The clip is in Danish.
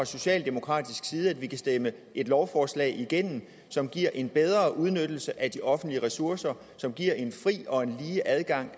socialdemokraterne at vi kan stemme et lovforslag igennem som giver en bedre udnyttelse af de offentlige ressourcer og som giver en fri og lige adgang